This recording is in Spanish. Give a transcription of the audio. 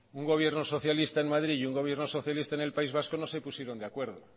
un gobierno socialista en madrid y un gobierno socialista en el país vasco no se pusieron de acuerdo